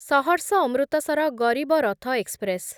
Saharsa Amritsar Garib Rath express